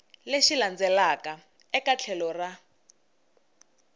lexi landzelaka eka tlhelo ra